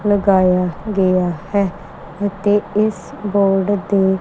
ਲਗਾਇਆ ਗਇਆ ਹੈ ਤੇ ਇਸ ਬੋਰਡ ਤੇ--